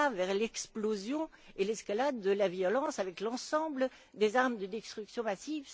On ira vers l'explosion et l'escalade de la violence avec l'ensemble des armes de destruction massive.